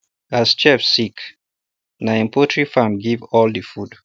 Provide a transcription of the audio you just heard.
as chief sick na him poultry farm give all the food